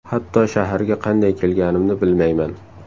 Hatto shaharga qanday kelganimni bilmayman.